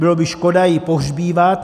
Bylo by škoda ji pohřbívat.